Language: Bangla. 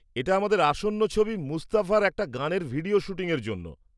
-এটা আমাদের আসন্ন ছবি 'মুস্তফা' র একটা গানের ভিডিওর শ্যুটিংয়ের জন্য।